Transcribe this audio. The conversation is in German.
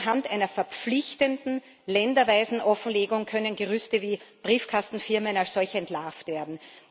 Nur anhand einer verpflichtenden länderweisen Offenlegung können Gerüste wie Briefkastenfirmen als solche entlarvt werden.